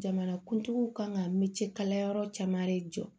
Jamanakuntigiw kan ka militikayɔrɔ caman de jɔ